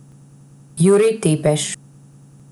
Jurij Tepeš.